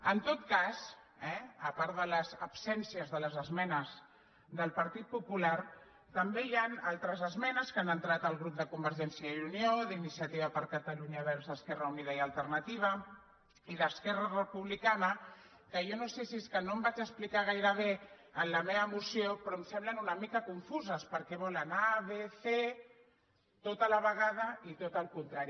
en tot cas a part de les absències de les esmenes del partit popular també hi han altres esmenes que han entrat el grup de convergència i unió d’iniciativa per catalunya verds esquerra unida i alternativa i d’esquerra republicana que jo no sé si és que no em vaig explicar gaire bé en la meva moció però em semblen una mica confuses perquè volen a vegada i tot el contrari